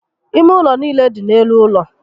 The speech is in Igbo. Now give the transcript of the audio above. Ime ụlọ niile dị n'elu ụlọ